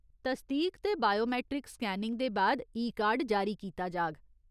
तसदीक ते biometric scanning दे बाद ई कार्ड जारी कीता जाग।